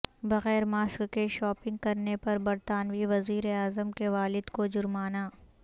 بغیر ماسک کے شاپنگ کرنے پر برطانوی وزیر اعظم کے والد کو جرمانہ